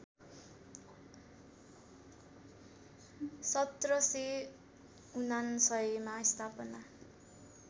१७९९ मा स्थापना